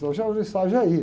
Eu já, no ensaio, eu já ia.